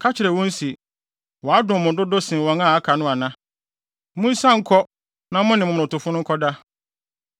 Ka kyerɛ wɔn se, ‘Wadom mo dodo sen wɔn a aka no ana? Munsian nkɔ na mo ne momonotofo no nkɔda.’